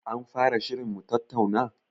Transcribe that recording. An fara shirin mutattauna?